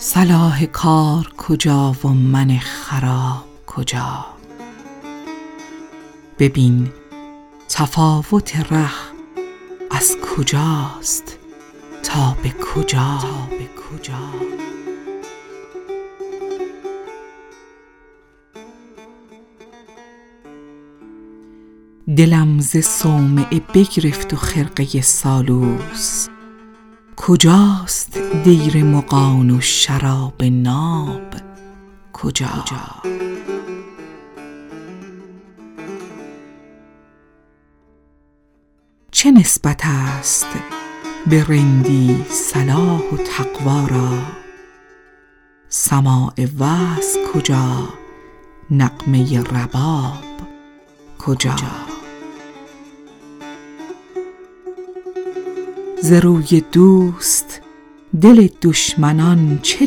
صلاح کار کجا و من خراب کجا ببین تفاوت ره کز کجاست تا به کجا دلم ز صومعه بگرفت و خرقه سالوس کجاست دیر مغان و شراب ناب کجا چه نسبت است به رندی صلاح و تقوا را سماع وعظ کجا نغمه رباب کجا ز روی دوست دل دشمنان چه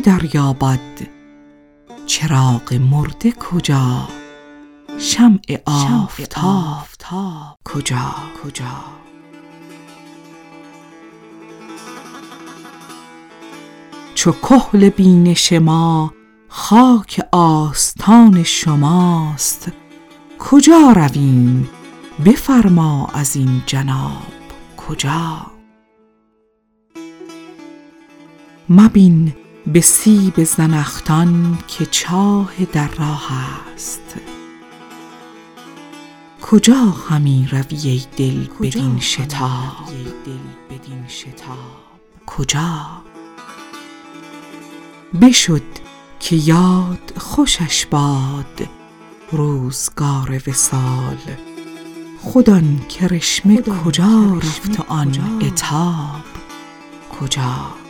دریابد چراغ مرده کجا شمع آفتاب کجا چو کحل بینش ما خاک آستان شماست کجا رویم بفرما ازین جناب کجا مبین به سیب زنخدان که چاه در راه است کجا همی روی ای دل بدین شتاب کجا بشد که یاد خوشش باد روزگار وصال خود آن کرشمه کجا رفت و آن عتاب کجا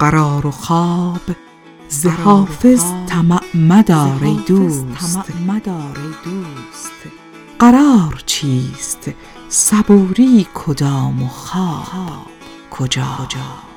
قرار و خواب ز حافظ طمع مدار ای دوست قرار چیست صبوری کدام و خواب کجا